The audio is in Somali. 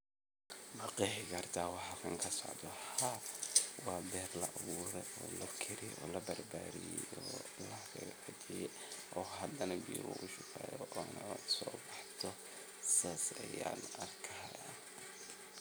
Ma qeexi karta waxa cunto socdo Ha wa beer laburay o lakari o labarbari o wax lagabixyay o hadana laga shaqeeyo o so baxdo sas ayan arkaya